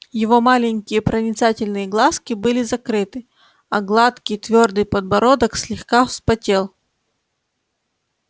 его маленькие проницательные глазки были закрыты а гладкий твёрдый подбородок слегка вспотел